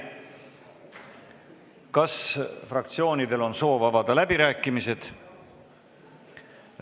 Kas fraktsioonidel on soovi avada läbirääkimisi?